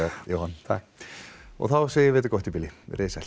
Jóhann þá segjum við þetta gott í bili veriði sæl